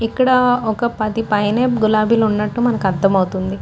ఇక్కడ ఒక పది పైనే గులాబీలు ఉన్నట్టు మనకి అర్థమవుతుంది.